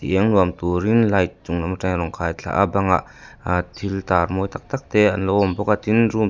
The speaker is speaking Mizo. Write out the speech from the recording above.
i eng nuam turin light chung lam atangin rawn khaithla a bangah a thil tar mawi tak tak te an lo awm bawk a tin--